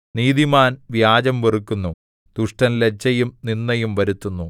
നീതിമാൻ വ്യാജം വെറുക്കുന്നു ദുഷ്ടൻ ലജ്ജയും നിന്ദയും വരുത്തുന്നു